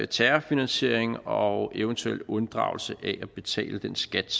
terrorfinansiering og eventuel unddragelse af at betale den skat